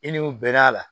I ni o bɛn'a la